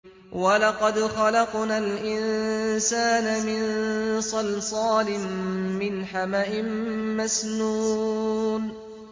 وَلَقَدْ خَلَقْنَا الْإِنسَانَ مِن صَلْصَالٍ مِّنْ حَمَإٍ مَّسْنُونٍ